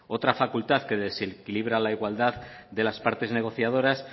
otra facultad que desequilibra la igualdad de las partes negociadoras